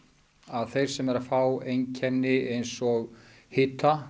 að þeir sem eru að fá einkenni eins og hita